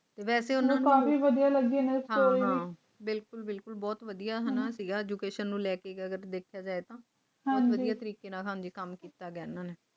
ਵੈਸੇ ਵੀ ਉਹਨਾਂ ਨੂੰ ਕਾਫੀ ਵਧੀਆ ਲੱਗੀ ਇਨ੍ਹਾਂ ਦੀ ਸਟੋਰੀ ਹਾਂ ਹਾਂ ਬਿਲਕੁਲ ਬਿਲਕੁਲ ਬਹੁਤ ਵਧੀਆ ਸੀ ਐਜੁਕੇਸ਼ਨ ਨੂੰ ਲੈ ਕੇ ਵੱਡੇ ਕਿ ਅਜਿਹੇ ਦੇ ਬਹੁਤ ਵਧੀਆ ਤਰੀਕੇ ਨਾਲ ਕੰਮ ਕੀਤਾ ਹੈ